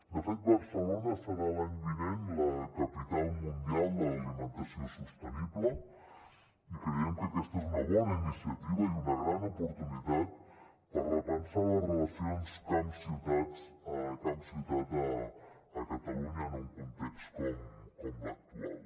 de fet barcelona serà l’any vinent la capital mundial de l’alimentació sostenible i creiem que aquesta és una bona iniciativa i una gran oportunitat per repensar les relacions camp ciutat a catalunya en un context com l’actual